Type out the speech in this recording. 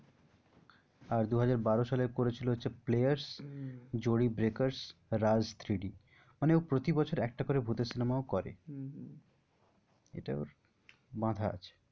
আর দুহাজার বারো সালে করেছিল হচ্ছে players, Jodi breakers, Raaz three D মানে ও প্রতি বছর একটা করে ভূতের cinema ও করে হম এটা ওর বাঁধা আছে।